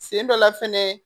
Sen dɔ la fɛnɛ